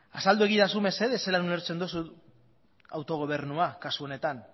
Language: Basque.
azaldu egidazu mesedez zelan ulertzen duzun autogobernua kasu honetan